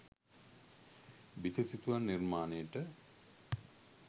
බිතු සිතුවම් නිර්මාණයට